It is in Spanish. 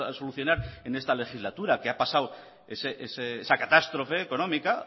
solucionar en esta legislatura que ha pasado esa catástrofe económica